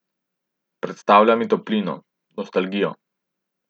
Predstavlja mi toplino, nostalgijo.